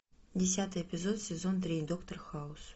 десятый эпизод сезон три доктор хаус